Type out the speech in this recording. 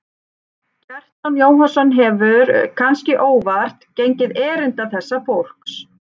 Kjartan Jóhannsson hefur, kannske óvart, gengið erinda þessa fólks.